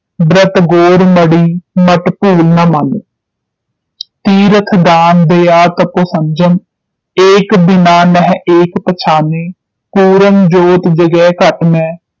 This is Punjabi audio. ਬਤ ਗੋਰ ਮੜ੍ਹੀ ਮਟ ਭੂਲ ਨ ਮਾਨੈ ਤੀਰਥ ਦਾਨ ਦਯਾ ਤਪ ਸੰਜਮ ਏਕ ਬਿਨਾ ਨਹਿ ਏਕ ਪਛਾਨੈ ਪੂਰਨ ਜੋਤਿ ਜਗੈ ਘਟ ਮੈਂ